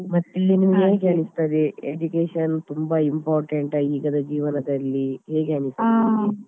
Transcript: ಮತ್ತೆ ಹೇಗ್ ಅನಿಸ್ತದೆ education ತುಂಬಾ important ಆ ಈಗದ ಜೀವನದಲ್ಲಿ ಹೇಗೆ ಅನಿಸ್ತದೆ.